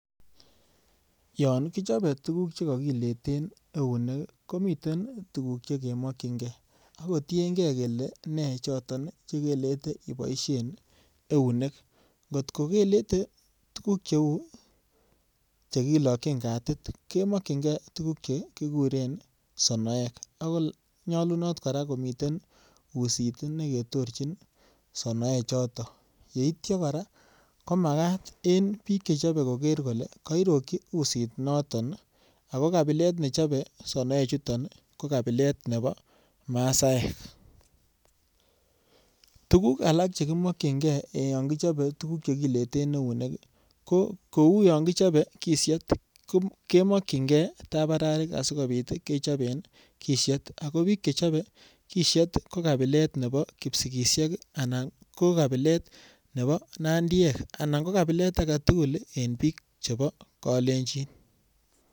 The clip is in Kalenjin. Yon ichobe tuguk che kakileten eunek, komiten tuguk che kemokyinge ak kotienge kele nechoto chekelete iboisien eunek. Ngot kokelete tuguk cheu chekilokyin katit, kemokyinge tuguk che kiguren sonoek ak konyalunot kora komiten usit neketorchin sonoe choto. Yeitya kora komagat en biik chechobe koger kole kairokyi usitnoton ago kabilet ne chobe sonoechuton ko kabilet nebo maasaek. Tuguk alak chekimokyinge yon kichobe tuguk che kileten eunek, ko kou yonkichobe kisyet kemokyinge tabararik asigopit kechoben kisyet ago biik che chobe kisyet ko kabilet nebo kipsigisiek anan ko kabilet nebo nandiek anan ko kabilet age tugul en biik chobo kalenjin.